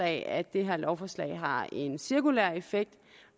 at det her lovforslag har en cirkulær effekt